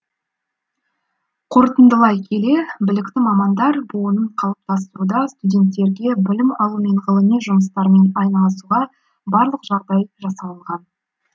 қорытындылай келе білікті мамандар буынын қалыптастыруда студенттерге білім алу мен ғылыми жұмыстармен айналысуға барлық жағдай жасалынған